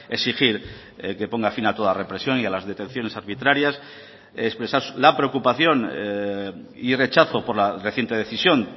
exigir que ponga fin a toda represión y a las detenciones arbitrarias expresar la preocupación y rechazo por la reciente decisión